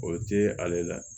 O tɛ ale la